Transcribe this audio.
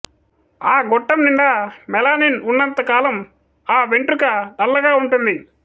ఆ గొట్టం నిండా మెలానిన్ ఉన్నంత కాలం ఆ వెంట్రుక నల్లగా ఉంటుంది